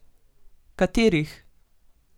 Katerih?